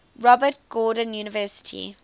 robert gordon university